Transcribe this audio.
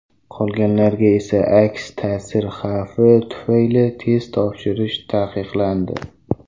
Qolganlarga esa aks ta’sir xavfi tufayli test topshirish taqiqlandi.